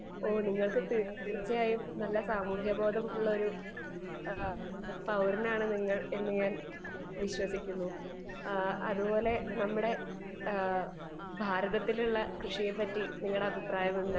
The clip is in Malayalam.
സ്പീക്കർ 2 ഓഹ് നിങ്ങൾക്ക് തീർച്ചയായും നല്ല സാമൂഹ്യ ബോധ്യമുള്ള ഒരു പൗരനാണെന്ന് ഞാൻ വിശ്വസിക്കുന്നു അതുപോലെ നമ്മുടെ ഭാരതത്തിലെ കൃഷിയെപ്പറ്റി നിങ്ങളുടെ അഭിപ്രായം എന്താണ്